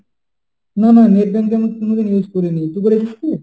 না না net banking আমি কোনদিন use করিনি। তুই করেছিস কি?